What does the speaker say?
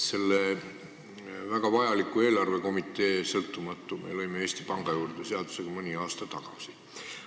Selle väga vajaliku sõltumatu eelarvekomitee me lõime Eesti Panga juurde seadusega mõni aasta tagasi.